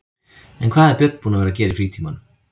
En hvað er Björn búinn að vera að gera í frítímanum?